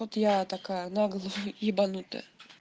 вот я такая на голову ебанутая